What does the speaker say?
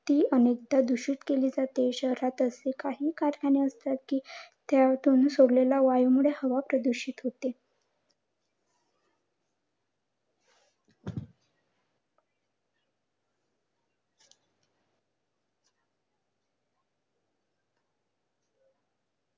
ती अनेकदा दूषित केली जाते. शहरात असे काही कारखाने असतात कि त्यातून सोडलेल्या वायूमुळे हवा प्रदूषित होते.